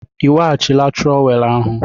Ị weghachila trowel ahụ?